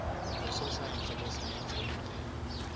ngososayense besayense yemvelo